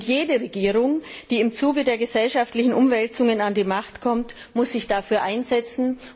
Jede Regierung, die im Zuge der gesellschaftlichen Umwälzungen an die Macht kommt, muss sich dafür einsetzen.